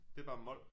Det er bare mol